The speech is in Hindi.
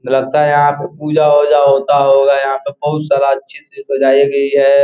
लगता है यहाँ पे पूजा वूजा होता होगा यहाँ पे बहोत सारा अच्छे से सजाई गई है।